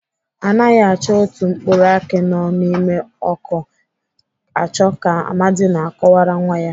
Anaghị achọ otu mkpụrụ akị nọ n'ime ọkụ achọ ka Amadi na-akọwara nwa ya.